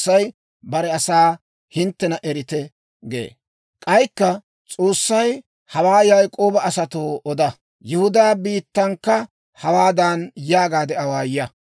K'aykka S'oossay, «Hawaa Yaak'ooba asatoo oda; Yihudaa biittankka hawaadan yaagaade awaaya;